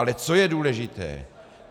Ale co je důležité.